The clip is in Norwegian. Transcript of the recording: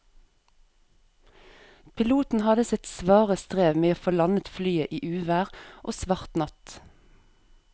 Piloten hadde sitt svare strev med å få landet flyet i uvær og svart natt.